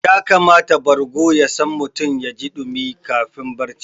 Ya kamata bargo ya sa mutum yaji ɗumi lokacin barci